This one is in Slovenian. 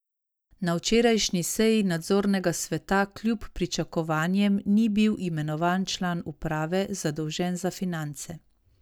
Na včerajšnji seji nadzornega sveta kljub pričakovanjem ni bil imenovan član uprave, zadolžen za finance.